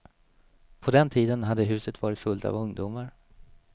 På den tiden hade huset varit fullt av ungdomar.